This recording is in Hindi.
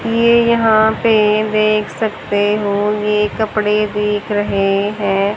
ये यहां पे देख सकते हो ये कपड़े दिख रहे हैं।